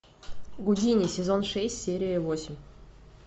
гудини сезон шесть серия восемь